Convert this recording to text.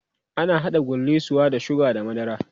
ana haɗa gullisuwa da sugar da madara